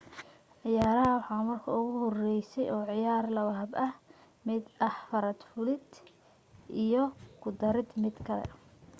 ciyaaraha waxaa marka ugu horeysay oo ciyaaray laba hab mid ah farad fulida iyo ku darida mid kale